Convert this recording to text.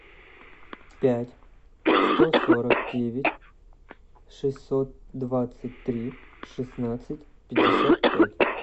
пять сто сорок девять шестьсот двадцать три шестнадцать пятьдесят пять